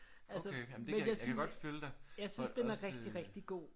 Okay jamen det jeg kan godt følge dig. Også